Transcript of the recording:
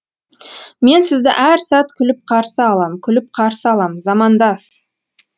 мен сізді әр сәт күліп қарсы алам күліп қарсы алам замандас